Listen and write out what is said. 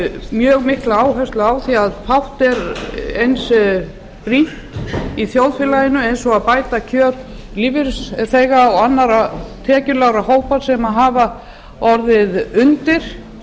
mjög mikla áherslu á því fátt er eins brýnt í þjóðfélaginu og að bæta kjör lífeyrisþega og annarra tekjulágra hópa sem hafa orðið undir